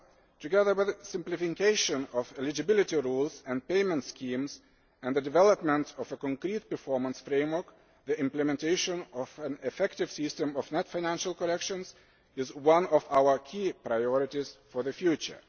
Together with the simplification of eligibility rules and payment schemes and the development of a concrete performance framework, the implementation of an effective system of net financial correction is one of our key priorities for the future.